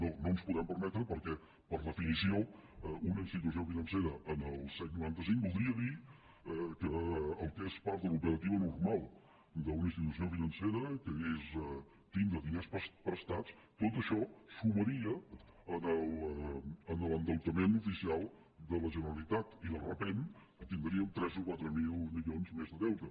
no ens ho podem permetre perquè per definició una institució financera en el set coma noranta cinc voldria dir que el que és part de l’operativa normal d’una institució financera que és tindre diners prestats tot això sumaria en l’endeutament oficial de la generalitat i de sobte tindríem tres mil o quatre mil milions més de deute